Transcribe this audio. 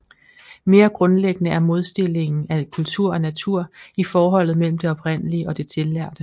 Mere grundlæggende er modstillingen af kultur og natur i forholdet mellem det oprindelige og det tillærte